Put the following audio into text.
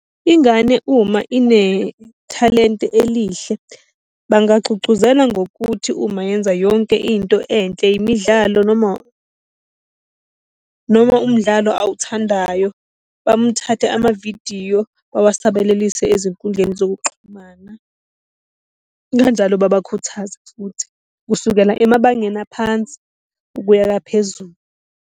Ingane uma inethalente elihle bangagcugcuzela ngokuthi uma yenza yonke into enhle, imidlalo noma umdlalo awuthandayo, bamthathe amavidiyo bawasabalalise ezinkundleni zokuxhumana. Kanjalo babakhuthaze futhi, kusukela emabangeni aphansi ukuya phezulu.